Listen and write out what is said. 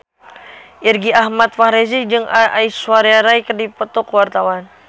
Irgi Ahmad Fahrezi jeung Aishwarya Rai keur dipoto ku wartawan